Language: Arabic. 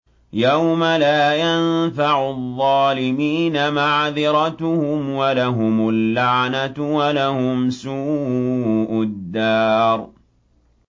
يَوْمَ لَا يَنفَعُ الظَّالِمِينَ مَعْذِرَتُهُمْ ۖ وَلَهُمُ اللَّعْنَةُ وَلَهُمْ سُوءُ الدَّارِ